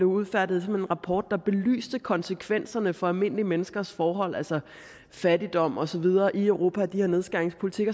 udfærdiget en rapport der belyste konsekvenserne for almindelige menneskers forhold altså fattigdom og så videre i europa af den her nedskæringspolitik